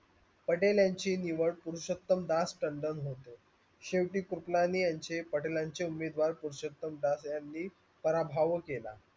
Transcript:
पटेल यांची निवड पुरुषोत्तमदास तंडण होतो. शेवटी सुकलाने यांचे पाटेलांचे उमेदर पुरुषोत्तमदास यांनी पराभव केला.